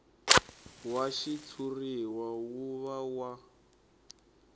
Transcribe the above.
wa xitshuriwa wu va wa